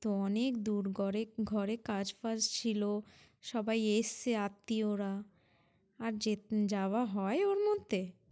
এটা অনেক দূর করে, ঘরে কাজ-ফাজ ছিলো, সবাই এসছে আত্ত্বীয়রা, আর যেতে~ যাওয়া হয় ওর মধ্যে?